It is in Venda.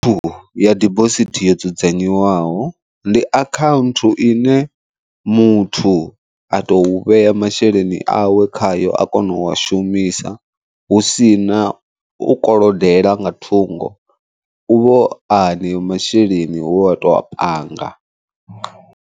Ya dibosithi yo dzudzanyiwaho ndi akhaunthu ine muthu a to vhea masheleni awe khayo a kona u a shumisa husina u kolodela nga thungo, u vho a haneyo masheleni hu a to a panga.